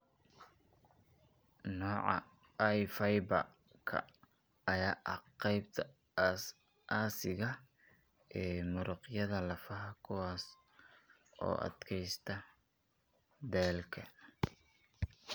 Nooca I fiber-ka ayaa ah qaybta aasaasiga ah ee muruqyada lafaha kuwaas oo u adkaysta daalka.